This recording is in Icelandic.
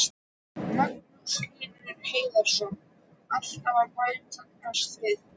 Magnús Hlynur Hreiðarsson: Alltaf að bætast við?